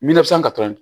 katɔ ye